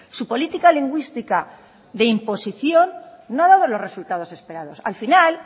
su política lingüística de imposición no ha dado los resultados esperados al final